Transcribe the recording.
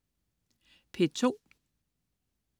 P2: